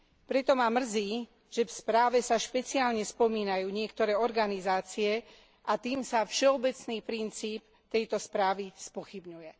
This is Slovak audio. Preto ma mrzí, že v správe sa špeciálne spomínajú niektoré organizácie, a tým sa všeobecný princíp tejto správy spochybňuje.